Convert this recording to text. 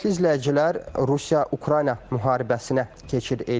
Hörmətli izləyicilər, Rusiya-Ukrayna müharibəsinə keçid eləyək.